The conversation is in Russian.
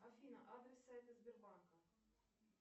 афина адрес сайта сбербанка